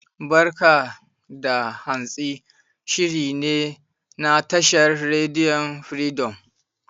"Barka da Hantsi" shiri ne na tashar rediyon Firidom.